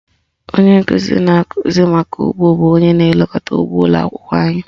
Onye nkụzi na-akụzi maka ụgbọ bụ onye na-elekọta ụgbọ ụlọakwụkwọ anyị